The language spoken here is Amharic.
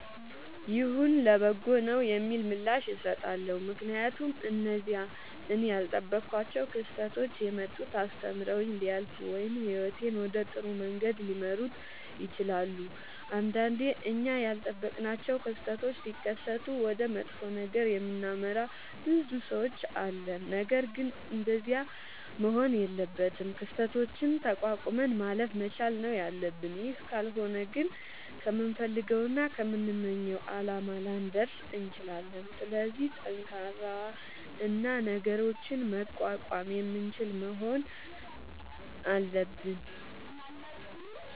ይሁን ለበጎ ነዉ የሚል ምላሽ እሠጣለሁ። ምክንያቱም እነዚያ እኔ ያልጠበኳቸዉ ክስተቶች የመጡት አስተምረዉኝ ሊያልፉ ወይም ህይወቴን ወደ ጥሩ መንገድ ሊመሩት ይችላሉ። ንዳንዴ እኛ ያልጠበቅናቸዉ ክስተቶች ሢከሠቱ ወደ መጥፎ ነገር የምናመራ ብዙ ሠዎች አለን። ነገርግን እንደዚያ መሆን የለበትም። ክስተቶችን ተቋቁመን ማለፍ መቻል ነዉ ያለብን ይህ ካልሆነ ግን ከምንፈልገዉና ከምንመኘዉ አላማ ላንደርስ እንችላለን። ስለዚህ ጠንካራ እና ነገሮችን መቋቋም የምንችል መሆን አለብን።